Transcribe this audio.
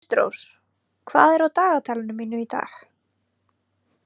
Kristrós, hvað er á dagatalinu mínu í dag?